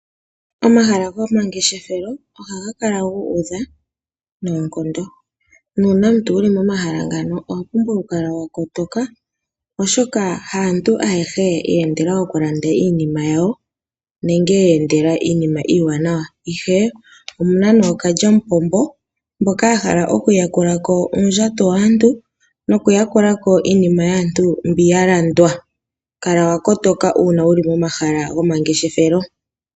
Omahala gomangeshethelo ohaga kala gu udha nonkondo nuna omuntu wuli momahala ngano owa pumbwa oku kala wakotoka oshoka haantu ayehe ye endela oku landa iinima yawo nenge ye endela iinima iwanawa, ihe omuna nokalyamupombo mboka ya hala oku yakulako uundjato waantu noku yakulako iinima yaantu onkene kala wakotoka una wuli momahala gomangeshethelo.